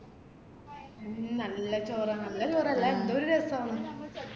മ് നല്ല ചോറാ നല്ല ചോറല്ല ന്തൊരു രസാന്ന്